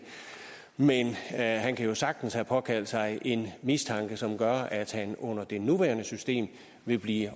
men han kan jo sagtens have påkaldt sig en mistanke som gør at han under det nuværende system vil blive